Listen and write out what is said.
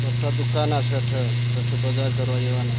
मोठा दुकान असठ असे बजार कर न येवा ना.